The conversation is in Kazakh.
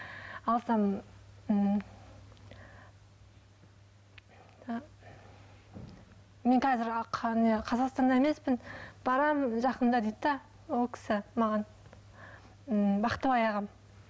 алсам м ы мен қазір не қазақстанда емеспін барамын жақында дейді де ол кісі маған м бақтыбай ағам